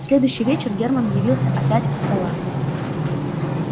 в следующий вечер герман явился опять у стола